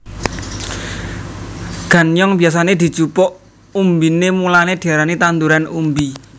Ganyong biyasané dijupuk umbiné mulané diarani tanduran umbi